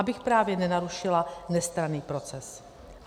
Abych právě nenarušila nestranný proces.